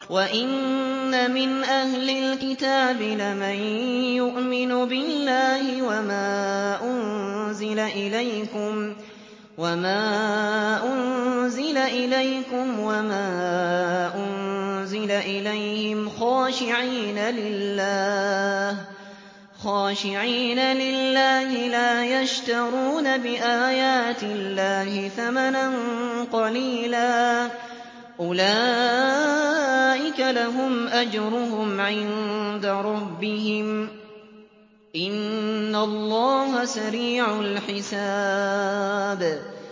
وَإِنَّ مِنْ أَهْلِ الْكِتَابِ لَمَن يُؤْمِنُ بِاللَّهِ وَمَا أُنزِلَ إِلَيْكُمْ وَمَا أُنزِلَ إِلَيْهِمْ خَاشِعِينَ لِلَّهِ لَا يَشْتَرُونَ بِآيَاتِ اللَّهِ ثَمَنًا قَلِيلًا ۗ أُولَٰئِكَ لَهُمْ أَجْرُهُمْ عِندَ رَبِّهِمْ ۗ إِنَّ اللَّهَ سَرِيعُ الْحِسَابِ